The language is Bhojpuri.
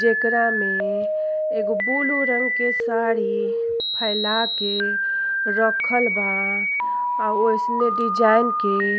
जेकरा में एगो बुलू रंग के साड़ी फैला के रखल बा आ ओइसने डिज़ाइन के --